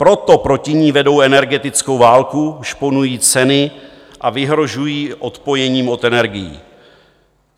Proto proti ní vedou energetickou válku, šponují ceny a vyhrožují odpojením od energií.